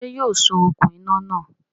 Sé yóò so okùn iná náà